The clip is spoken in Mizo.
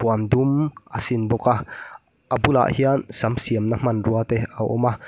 puan dum a sin bawk a a bulah hian sam siamna hmanruate a awm a.